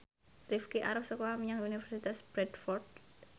Rifqi arep sekolah menyang Universitas Bradford